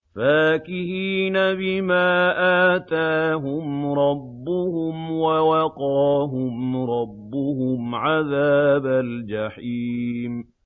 فَاكِهِينَ بِمَا آتَاهُمْ رَبُّهُمْ وَوَقَاهُمْ رَبُّهُمْ عَذَابَ الْجَحِيمِ